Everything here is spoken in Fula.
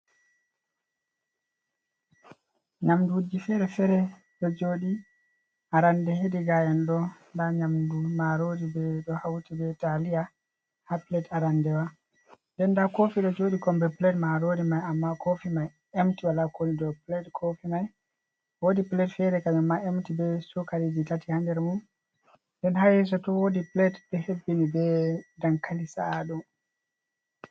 Nyamnduuji feere-feere ɗo jooɗi, arannde hedi gaa`en ɗo nda nyamndu maaroori, ɓe ɗo hawti be taaliya haa pilet arandewa, nden nda koofi ɗo joodi kommbi pilet maaroori may, ammaa koofi may emti, wala ko won dow pilet koofi may, woodi pilet feere kanjum ma emti be cookaliiji tati, haa nder mum, nden haa yeeso to, woodi pilet ɗo hebbini be dankali sa’aadum.